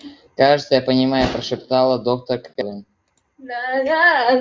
кажется я понимаю прошептала доктор кэлвин